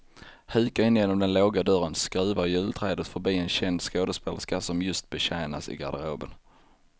Hukar in genom den låga dörren, skruvar julträdet förbi en känd skådespelerska som just betjänas i garderoben.